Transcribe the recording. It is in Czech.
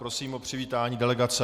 Prosím o přivítání delegace.